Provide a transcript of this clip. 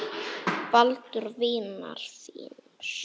Baldurs vinar þíns.